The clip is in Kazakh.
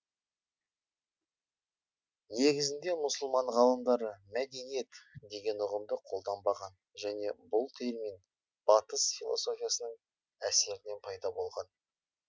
негізінде мұсылман ғалымдары мәдениет деген ұғымды қолданбаған және бұл термин батыс философиясының әсерінен пайда болған